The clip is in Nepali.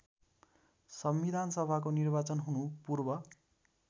संविधानसभाको निर्वाचन हुनुपूर्व